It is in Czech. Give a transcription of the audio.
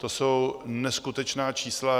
To jsou neskutečná čísla.